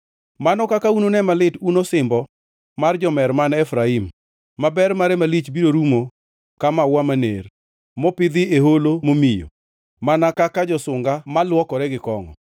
Mano kaka unune malit un osimbo mar jomer man Efraim, maber mare malich biro rumo ka maua maner, mopidhi ei holo momiyo mana kaka josunga malwokore gi kongʼo!